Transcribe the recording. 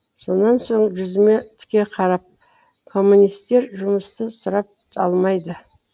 сонан соң жүзіме тіке қарап коммунистер жұмысты сұрап алмайды